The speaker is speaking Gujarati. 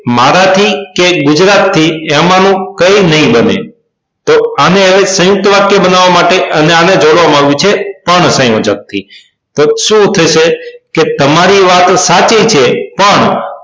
મારાથી કે ગુજરાત થી એમાનું કઇ નઇ બને તો આને હવે સયુંકત વાક્ય બનાવા માટે અને આને જોડવામાં આવ્યું છે પણ સંયોજક થી તો સુ થશે કે તમારી વાત સાચી છે પણ